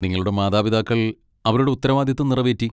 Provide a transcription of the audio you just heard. നിങ്ങളുടെ മാതാപിതാക്കൾ അവരുടെ ഉത്തരവാദിത്തം നിറവേറ്റി.